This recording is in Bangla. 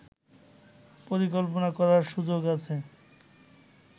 পরিকল্পনা করার সুযোগ আছে